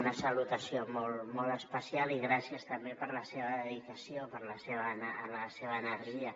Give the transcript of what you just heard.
una salutació molt especial i gràcies també per la seva dedicació i per la seva energia